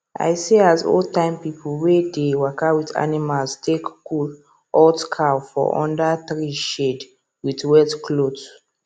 i see as old time people wey dey waka with animals take cool hot cow for under tree shade with wet cloth